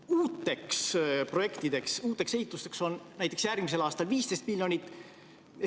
Uuteks projektideks, uuteks ehitusteks on näiteks järgmisel aastal ette nähtud 15 miljonit eurot.